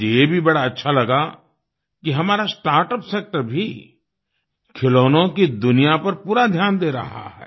मुझे ये भी बड़ा अच्छा लगा कि हमारा स्टार्टअप सेक्टर भी खिलौनों की दुनिया पर पूरा ध्यान दे रहा है